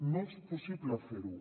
no és possible fer ho